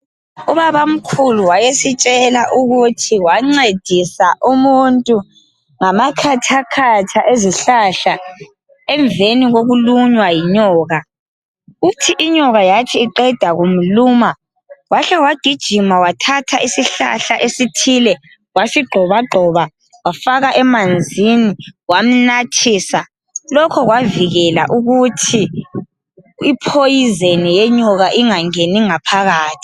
Ubabamkhulu wayesitshela ukuthi wancedisa umuntu ngamakhathakhatha ezihlahla emveni kokulunywa yinyoka .Uthi inyoka yathi iqeda kumluma wahle wagijima wathatha isihlahla esithile wasigxobagxoba wafaka emanzini wamnathisa ,lokhu kwavikela ukuthi iphoyizeni yenyoka ingangeni ngaphakathi.